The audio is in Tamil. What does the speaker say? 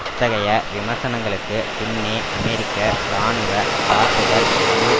அத்தகைய விமர்சனங்களுக்குப் பின்னே அமெரிக்க இராணுவ தாக்குதல் முழு